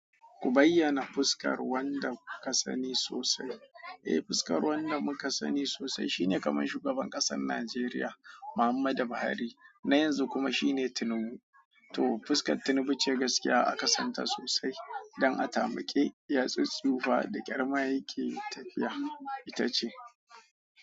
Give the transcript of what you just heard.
Ku bayyana fuskar wanda kuka sani sosai. Eh, fuskar wanda muka sani sosai shine kamar shugaban ƙasar Najeriya Muhammadu Buhari na yanzu kuma shine Tinubu. To, fuskar Tinubu ce gaskiya aka santa sosai don a tamake yatsun tsufa da ƙyar maye yake tafiya, ita ce.